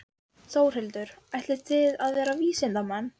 Þórhildur: Ætlið þið að verða vísindamenn?